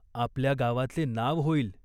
आपल्या गावाचे नाव होईल.